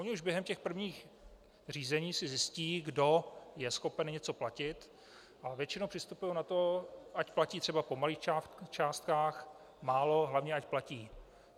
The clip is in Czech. Oni už během těch prvních řízení si zjistí, kdo je schopen něco platit, a většinou přistupují na to, ať platí třeba po malých částkách, málo, hlavně ať platí.